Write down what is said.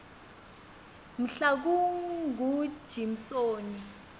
mhlakungujimsoni